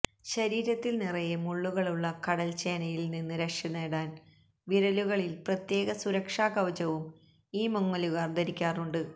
ശരീരത്തില് നിറയെ മുള്ളുകളുള്ള കടല്ച്ചേനയില് നിന്ന് രക്ഷനേടാന് വിരലുകളില് പ്രത്യേക സുരക്ഷാ കവചവും ഈ മുങ്ങലുകാര് ധരിക്കാറുണ്ട്